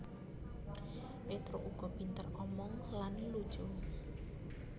Petruk uga pinter omong lan lucu